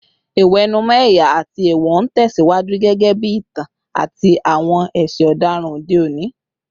Ìwẹ̀nùmọ́ ẹ̀yà àti èèwọ̀ ń tẹ̀ síwájú gẹ́gẹ́ bí ìtàn àti àwọn ẹ̀ṣẹ̀ ọ̀daràn òde òní